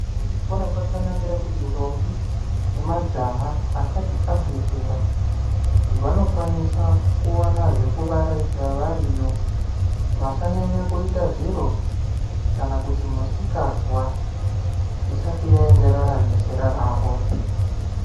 Kuzvikora kwakanakira kuti ndombi nemajaha asati abve zera vanokwanisa kuwana zvekuvaraidza variyo vasanyanya kuita zviro kana kuti misikazwa isati yaenderana nezera ravo.